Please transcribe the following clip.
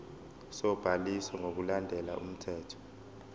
sobhaliso ngokulandela umthetho